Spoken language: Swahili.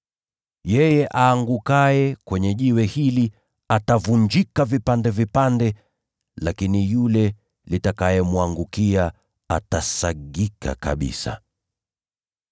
Yeye aangukaye juu ya jiwe hili atavunjika vipande vipande, lakini yule litakayemwangukia atasagwa kabisa.”